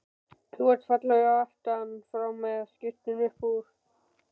Þú ert fallegur aftan frá með skyrtuna upp úr.